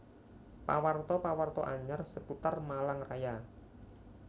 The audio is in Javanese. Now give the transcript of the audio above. Pawarta pawarta anyar seputar Malang Raya